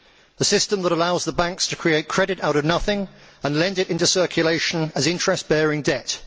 A system that allows the banks to create credit out of nothing and lend it into circulation as interest bearing debt